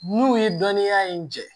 N'u ye dɔnniya in jɛ